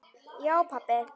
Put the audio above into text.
Já pabbi.